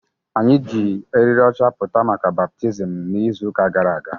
Anyị ji eriri ọcha pụta maka baptizim n'izu ụka gara aga